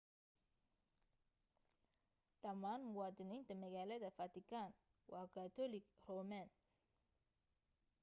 dhammaan muwaadiniinta magaalada vatican waa katoolig roman